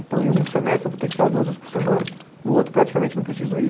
Então, em um semestre eu vou ter que ir para lá duas vezes por semana, no outro praticamente não preciso ir.